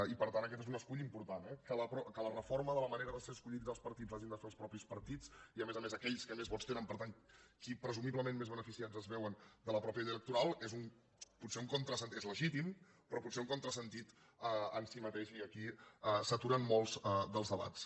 i per tant aquest és un escull important eh que la reforma de la manera de ser escollits dels partits l’hagin de fer els mateixos partits i a més a més aquells que més vots tenen i per tant qui presumiblement més beneficiats es veuen de la mateixa llei electoral és potser un contrasentit legítim però potser un contrasentit en si mateix i aquí s’aturen molts dels debats